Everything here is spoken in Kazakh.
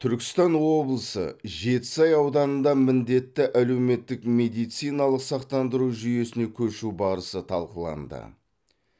түркістан облысы жетісай ауданында міндетті әлеуметтік медициналық сақтандыру жүйесіне көшу барысы талқыланды